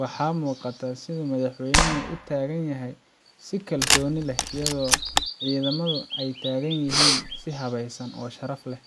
Waxaa muuqata sida uu Madaxweynaha u taagan yahay si kalsooni leh, iyadoo ciidamadu ay taagan yihiin si habaysan oo sharaf leh.